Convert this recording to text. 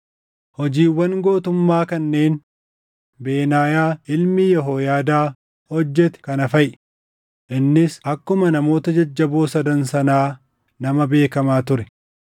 Hojiiwwan gootummaa kanneen Benaayaa ilmi Yehooyaadaa hojjete kana faʼi; innis akkuma namoota jajjaboo sadan sanaa nama beekamaa ture.